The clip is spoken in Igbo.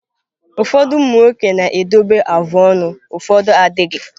Ụfọdụ umụ nwoke na-edobe afụ ọnụ ụfọdụ adịghị.